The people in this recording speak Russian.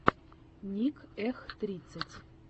ник эх тридцать